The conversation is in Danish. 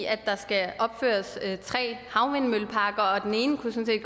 i at der skal opføres tre havvindmølleparker og den ene kunne sådan